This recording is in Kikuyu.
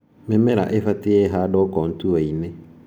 Mĩmera ibatie ĩhandwo kontuainĩ